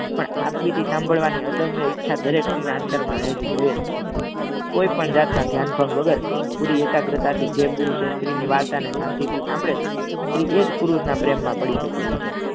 પણ આ સાંભળવાની અદમ્ય ઈચ્છા દરેક સ્ત્રીને અંતર મા રહલી હોઈજ કોઈપણ જાતના ધ્યાન પન વગર પૂરી એકાગ્રતા થી જે પુરુષ અને સ્ત્રી ની વાર્તા ને સાનથીથી સાંભળે છે સ્ત્રી એજ પુરુષ ના પ્રેમ મા પડી જતી હોય છે.